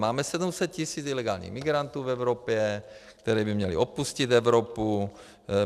Máme 700 tis. ilegálních migrantů v Evropě, kteří by měli opustit Evropu.